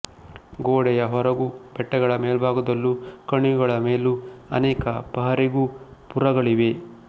ಗೋಡೆಯ ಹೊರಗೂ ಬೆಟ್ಟಗಳ ಮೇಲ್ಭಾಗದಲ್ಲೂ ಕಣಿವೆಗಳ ಮೇಲೂ ಅನೇಕ ಪಹರೆಗೋಪುರಗಳಿವೆ